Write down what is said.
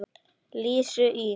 Lísu í